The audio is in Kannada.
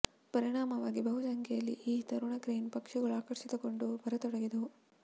ಪರಿಣಾಮವಾಗಿ ಬಹು ಸಂಖ್ಯೆಯಲ್ಲಿ ಈ ತರುಣ ಕ್ರೇನ್ ಪಕ್ಷಿಗಳು ಆಕರ್ಷಿತಗೊಂಡು ಬರತೊಡಗಿದವು